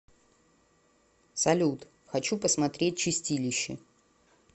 салют хочу посмотреть чистилище